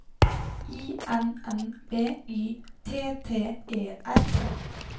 I N N B Y T T E R